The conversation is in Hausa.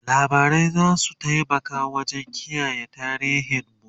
labarai zasu taimaka wajen kiyaye tarihin mu